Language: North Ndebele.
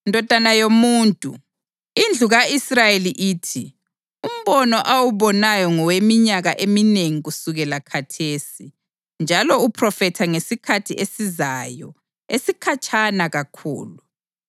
“Ndodana yomuntu, indlu ka-Israyeli ithi, ‘Umbono awubonayo ngoweminyaka eminengi kusukela khathesi, njalo uphrofetha ngesikhathi esizayo esikhatshana kakhulu.’